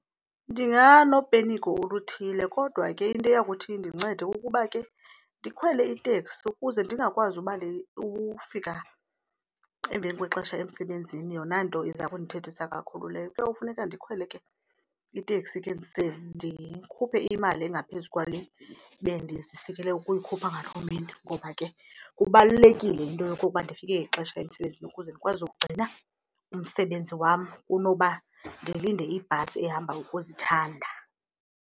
Ndinganopenikho oluthile kodwa ke into eya kuthi indincede kukuba ke ndikhwele iteksi ukuze ndingakwazi ufika emveni kwexesha emsebenzini yona nto iza kundithethisa kakhulu leyo. Kuyawufuneka ndikhwele ke iteksi ke ndise ndikhuphe imali engaphezu kwale bendizisikele ukuyikhupha ngaloo mini ngoba ke kubalulekile into yokokuba ndifike ngexesha emsebenzini ukuze ndikwazi ukugcina umsebenzi wam kunoba ndilinde ibhasi ehamba ukuzithanda.